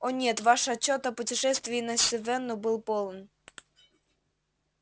о нет ваш отчёт о путешествии на сивенну был полон